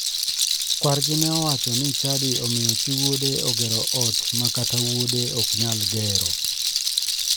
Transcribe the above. Kwargi ne owacho ni chadi omiyo chi wuode ogero ot ma kata wuode ok nyal gero.